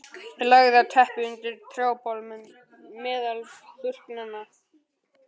Ég lagðist á teppið undir trjábol meðal burknanna.